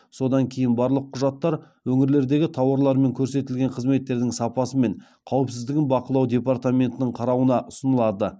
содан кейін барлық құжаттар өңірлердегі тауарлар мен көрсетілген қызметтердің сапасы мен қауіпсіздігін бақылау департаментінің қарауына ұсынылады